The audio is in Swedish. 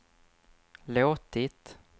låtit